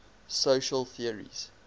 social theories